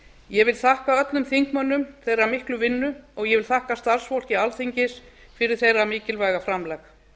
ég vil þakka öllum þingmönnum þeirra miklu vinnu og ég vil þakka starfsfólki alþingis fyrir þeirra mikilvæga framlag